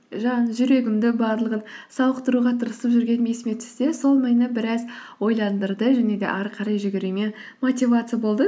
жаңағы жүрегімді барлығын сауықтыруға тырысып жүргенім есіме түсті де сол мені біраз ойландырды және де ары қарай жүгіруіме мотивация болды